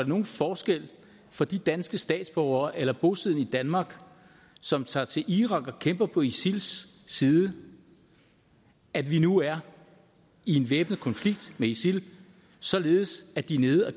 nogen forskel for de danske statsborgere eller bosiddende i danmark som tager til irak og kæmper på isils side at vi nu er i en væbnet konflikt med isil således at de er nede og